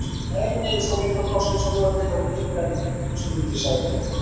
Nei, nei, í svona miklu frosti eins og núna tekur þetta enga stund sagði